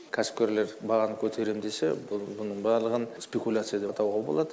кәсіпкерлер бағаны көтерем десе бұл бұның барлығын спикуляция деп атауға болады